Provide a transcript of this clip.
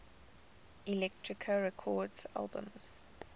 elektra records albums